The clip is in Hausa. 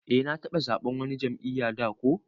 Eh na taba zaɓen wani jam'iyya da ko.